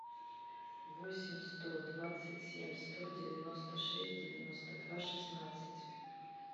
восемь сто двадцать семь сто девяносто шесть девяносто два шестнадцать